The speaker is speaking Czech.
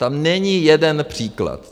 Tam není jeden příklad.